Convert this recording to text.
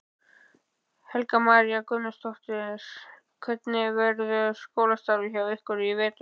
Helga María Guðmundsdóttir: Hvernig verður skólastarfið hjá ykkur í vetur?